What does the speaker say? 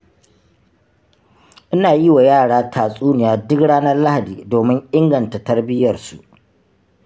Ina yi wa yara tatsuniya duk ranar Lahadi, domin inganta tarbiyyarsu.